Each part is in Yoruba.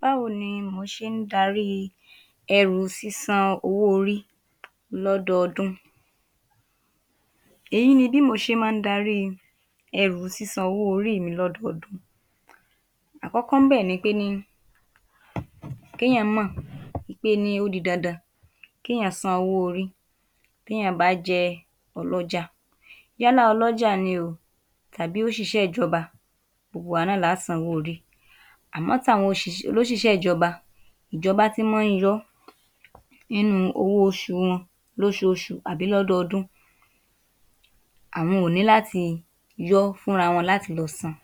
Báwo ni mò ṣé ń darí ẹrù sísan owó-orí lọ́dọọdún? Èyí ni bí mò ṣé máa ń darí i ẹrù sísan owó-orí mi lọ́dọọdún. Àkọ́kọ́ ńbẹ̀ ni pé ní kí èèyàn mọ̀ ní pé ó di dandan kééyàn san owó-orí bí èèyàn bá jẹ́ ọlọ́jà yálà ọlọ́jà ni o tàbí òṣìṣẹ́ ìjọba gbogbo wa náà lá san owó-orí àmọ́ t’àwọn òṣìṣẹ́ olóṣìṣẹ́ ìjọba, ìjọba tí máa ń yọ́ nínú owó oṣù wọn lóṣooṣù tàbí lọ́dọọdún àwọn ò ní láti yọ́ fúnra wọn láti lọ san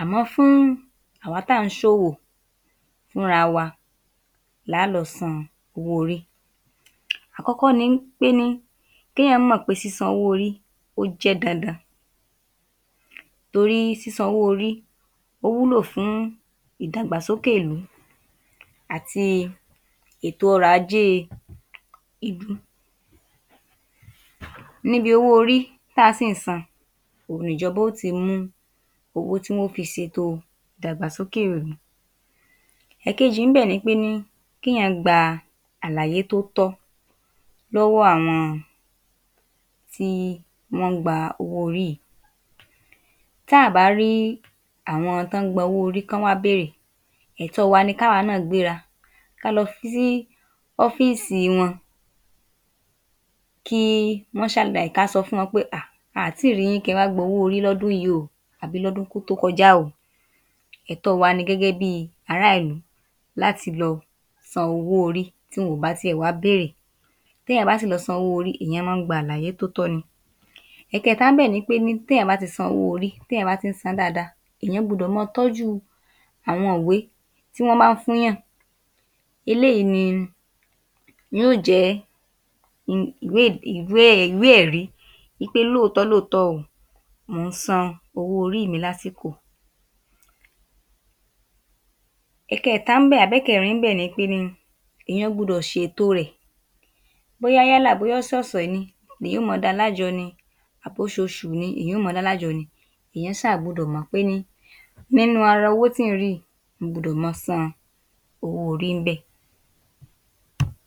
àmọ́ fún àwa tà ń ṣòwò fúnra wa lá a lọ san owó-orí. Àkọ́kọ́ ni wí pé ní k’ééyàn mọ̀ pé ní sísan owó-orí ó jẹ́ dandan torí sísan owó-orí ó wúlò fún ìdàgbàsókè ìlú àti ètò ọrọ̀ ajé ìlú. Níbi owó-orí ta sì ń san òun ni ìjọba ó ti mú owó tí wọ́n ó fi ṣètò ìdàgbàsókè ìlú. ẹ̀kejì ńbẹ̀ ni pé ní k’éèyàn gba àlàyé tó tọ́ lọ́wọ́ àwọn tí wọ́n ń gba owó-orí yìí. Tá à bá rí àwọn tí wọ́n ń gba owó-orí kí wọ́n wá béèrè ẹ̀tọ́ wa ni kí àwa náà gbéra ká lọ fi sí ọfíìsì wọn kí wọ́n ṣàlàyé ká sọ fún wọn pé um a à tíì ri yín kẹ wá gba owó-orí lọ́dún yìí o àbí lọ́dún tó kọjá o. ẹ̀tọ́ wa ni gẹ́gẹ́ bí i aráàlú láti lọ san owó-orí tí wọn ò bá tiẹ̀ wá béèrè. Bí èèyàn bá sì lọ san owó-orí èèyàn máa ń gba àlàyé tó tọ́ ni. ẹ̀kẹta ńbẹ̀ ni pé ní tí èèyàn bá ti san owó-orí, tí èèyàn bá ti ń sán dáadáa èèyàn gbudọ̀ máa tọ́jú àwọn ìwé tí wọ́n máa ń fún’yàn eléyìí ni yóò jẹ́ ìwé ẹ̀rí wí pé lóòtọ́ lóòtọ́ o mò ń san owó-orí mi lásìkò. ẹ̀kẹẹ̀ta ńbẹ̀ àbí ẹ̀kẹrin ńbẹ̀ ni pé ni èèyàn gbudọ̀ ṣètò rẹ̀ bóyá yálà bóyá ọ̀sọ̀ọ̀sẹ̀ ni ni èèyàn ó máa da lájọ ni àbí oṣooṣù ni èèyàn ó máa da lájọ ni èèyàn ṣà gbọdọ̀ mọ ní pé ni nínú ara owó tí ń rí yìí mo gbudọ̀ máa san owó-orí ńbẹ̀.